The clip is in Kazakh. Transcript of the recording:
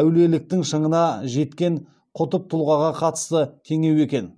әулиеліктің шыңына жеткен құтб тұлғаға қатысты теңеу екен